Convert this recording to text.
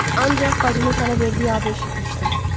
Ancaq bacımın sənə verdiyi adı eşitmişdim.